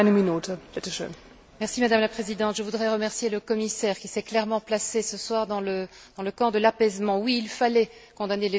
Madame la Présidente, je voudrais remercier le commissaire qui s'est clairement placé ce soir dans le camp de l'apaisement. Oui, il fallait condamner les violences de part et d'autre.